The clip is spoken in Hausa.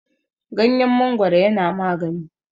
ganyen mangoro yana magani